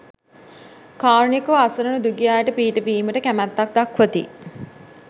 කාරුණිකව අසරණ දුගී අයට පිහිටවීමට කැමැත්තක් දක්වති.